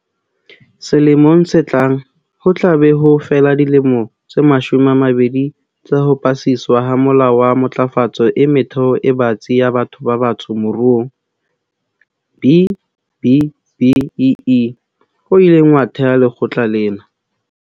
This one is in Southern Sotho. Selemong se tlang, ho tla be ho fela dilemo tse mashome a mabedi tsa ho pasiswa ha Molao wa Matlafatso e Metheo e Batsi ya Batho ba Batsho Moruong, B-BBEE, - o ileng wa theha lekgotla lena.